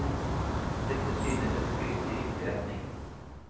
Dette synes et skritt i riktig retning.